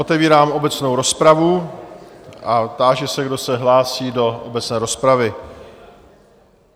Otevírám obecnou rozpravu a táži se, kdo se hlásí do obecné rozpravy.